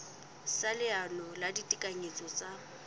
sa leano la ditekanyetso tsa